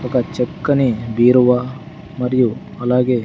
ఒక చక్కని బీరువా మరియు అలాగే--